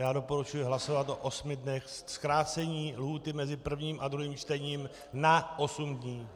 Já doporučuji hlasovat o osmi dnech, zkrácení lhůty mezi prvním a druhým čtením na osm dní.